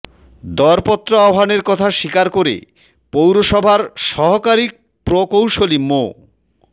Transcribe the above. দরপত্র আহ্বানের কথা স্বীকার করে পৌরসভার সহকারী প্রকৌশলী মো